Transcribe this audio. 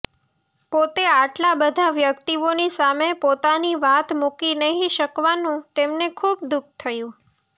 પોતે આટલા બધા વ્યક્તિઓની સામે પોતાની વાત મૂકી નહિ શકવાનું તેમને ખૂબ દુઃખ થયું